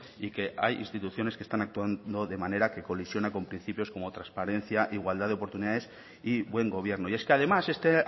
y que hay instituciones que están actuando de manera que colisiona con principios como transparencia igualdad de oportunidades y buen gobierno y es que además este